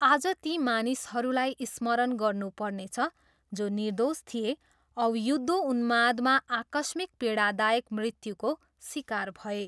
आज ती मानिसहरूलाई स्मरण गर्नु पर्नेछ जो निर्दोष थिए औ युद्धोउन्मादमा आकस्मिक पीडादायक मृत्युको सिकार भए।